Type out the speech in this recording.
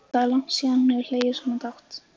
Það er langt síðan hún hefur hlegið svona dátt.